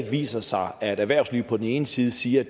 viser sig at erhvervslivet på den ene side siger